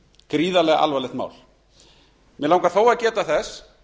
gríðarlega alvarlegt mál mig langar þó að geta þess